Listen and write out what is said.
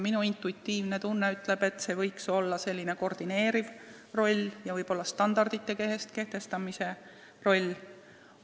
Minu intuitiivne tunne ütleb, et see roll võiks olla koordineeriv ja võib-olla standardite kehtestamise roll.